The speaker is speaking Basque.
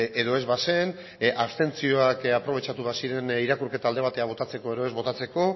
edo ez bazen abstentzioak aprobetxatu baziren irakurketa alde batera botatzeko edo ez botatzeko